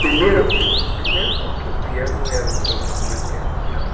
Primeiro pri primeiro porque o piano era é o instrumento que a gente tinha lá.